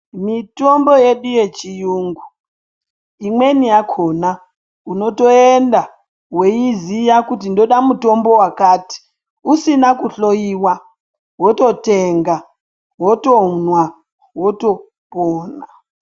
Mitombo yedu yechirungu imweni yakona unotoenda weizya kuti ndoda mutombo wakati usina kuhloiwa wototenga wotomwa wotopona.